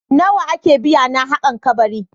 Nawa ake biya na haƙan kabari?